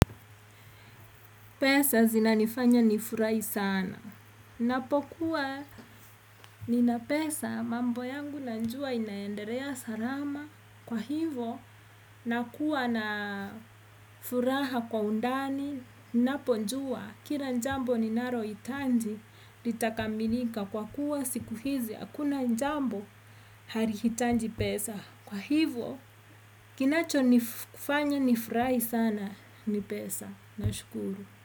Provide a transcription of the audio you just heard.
Pesa zinanifanya nifurahi sana. Ninapokuwa nina pesa mambo yangu najua inaendelea salama. Kwa hivo nakuwa na furaha kwa undani, ninaponjua kila jambo ninalohitaji lita kamilika. Kwa kuwa siku hizi hakuna jambo halihitaji pesa. Kwa hivo kinachonifanya nifurahi sana ni pesa. Nashukuru.